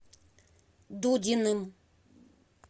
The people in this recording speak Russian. дудиным